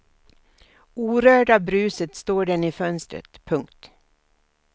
Orörd av bruset står den i fönstret. punkt